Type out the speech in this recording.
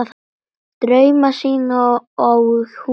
Drauma sína á hún sjálf.